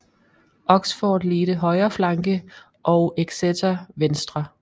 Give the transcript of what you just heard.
Oxford ledte højre flanke og Exeter venstre